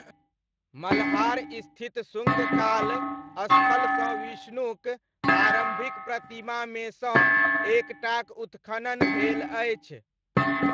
मल्हार स्थित शुङ्ग काल स्थलसँ विष्णुक आरम्भिक प्रतिमामे सँ एक टाक उत्खनन भेल अछि।